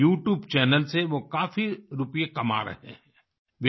अपने YouTube channel से वो काफ़ी रुपये कमा रहे हैं